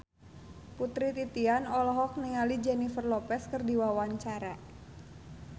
Putri Titian olohok ningali Jennifer Lopez keur diwawancara